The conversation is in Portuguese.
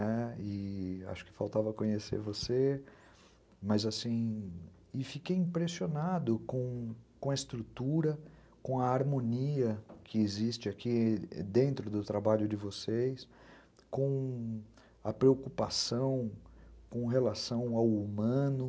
Ãh, acho que faltava conhecer você, mas assim, e fiquei impressionado com a estrutura, com a harmonia que existe aqui dentro do trabalho de vocês, com a preocupação com relação ao humano.